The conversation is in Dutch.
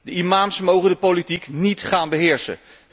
De imams mogen de politiek niet gaan beheersen.